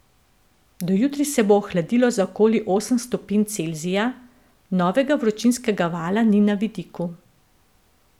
Do jutri se bo ohladilo za okoli osem stopinj Celzija, novega vročinskega vala ni na vidiku.